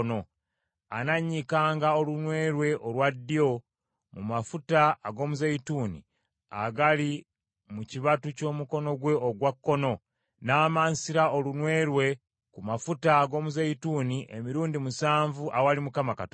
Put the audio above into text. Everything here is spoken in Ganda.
anannyikanga olunwe lwe olwa ddyo mu mafuta ag’omuzeeyituuni agali mu kibatu ky’omukono gwe ogwa kkono, n’amansira n’olunwe lwe ku mafuta ag’omuzeeyituuni emirundi musanvu awali Mukama Katonda.